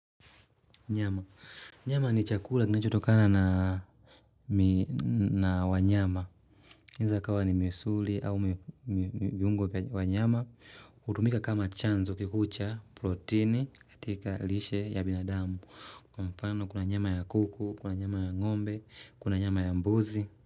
Nyama. Nyama ni chakula kinachotokana na wanyama. Inaeza ikawa ni misuli au viungo vya wanyama. Hutumika kama chanzo kikuu cha proteini katika lishe ya binadamu. Kuna nyama ya kuku, kuna nyama ya ngombe, kuna nyama ya mbuzi.